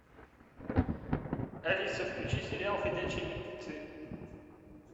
алиса включи сериал ходячие мертвецы